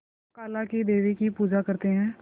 काला क़ी देवी की पूजा करते है